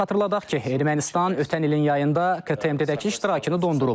Xatırladaq ki, Ermənistan ötən ilin yayında KMTT-dəki iştirakını dondurub.